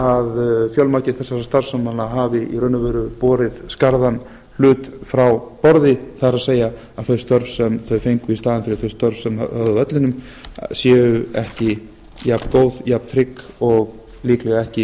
að fjölmargir þessara starfsmanna hafi í raun og veru borið skarðan hlut frá borði það er þau störf sem þeir fengu í staðinn fyrir þau störf sem þeir höfðu á vellinum séu ekki jafngóð jafntrygg og líklega ekki